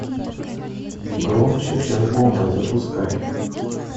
громче чем бомба запускай